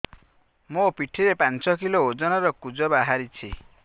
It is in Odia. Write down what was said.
ମୋ ପିଠି ରେ ପାଞ୍ଚ କିଲୋ ଓଜନ ର କୁଜ ବାହାରିଛି